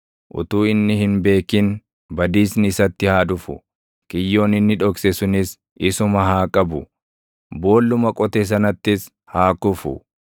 utuu inni hin beekin badiisni isatti haa dhufu; kiyyoon inni dhokse sunis isuma haa qabu; boolluma qote sanattis haa kufu.